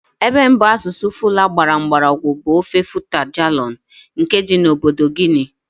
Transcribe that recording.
Ebe mbụ asụsụ Fula gbara mgbọrọgwụ bụ ofe Futa Djallon nke dị na obodo Guinea.